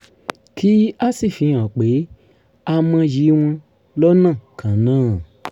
kí a sì fi hàn pé a mọyì wọn lọ́nà kan náà